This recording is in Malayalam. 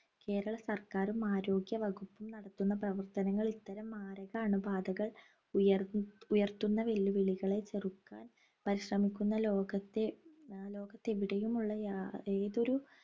കേരള സർക്കാറും ആരോഗ്യവകുപ്പും നടത്തുന്ന പ്രവർത്തനങ്ങൾ ഇത്തരം മാരക അണുബാധകൾ ഉയർന്നു ഉയർത്തുന്ന വെല്ലു വിളികളെ ചെറുക്കാൻ പരിശ്രമിക്കുന്ന ലോകത്തെ ഏർ ലോകത്തെവിടെയും ഉള്ള യാ ഏതൊരു